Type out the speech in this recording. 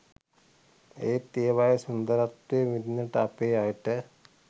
එත් ඒවායේ සුන්දරත්වය විදින්න අපේ අයට